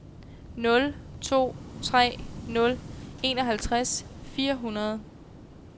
nul to tre nul enoghalvtreds fire hundrede